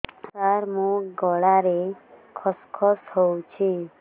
ସାର ମୋ ଗଳାରେ ଖସ ଖସ ହଉଚି